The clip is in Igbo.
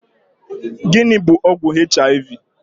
Gịnị bụ ọgwụ HIV?